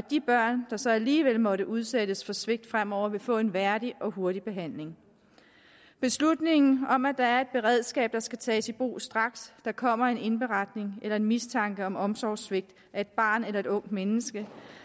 de børn som alligevel måtte udsættes for svigt fremover vil få en værdig og hurtig behandling beslutningen om at være et beredskab der skal tages i brug straks der kommer en indberetning eller en mistanke om omsorgssvigt af et barn eller et ungt menneske